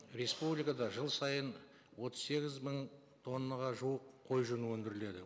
республикада жыл сайын отыз сегіз мың тоннаға жуық қой жүні өндіріледі